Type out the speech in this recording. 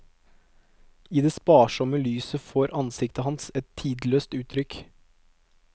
I det sparsomme lyset får ansiktet hans et tidløst utrykk.